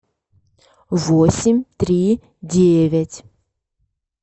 восемь три девять